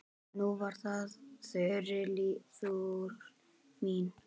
Nú var það Þuríður mín.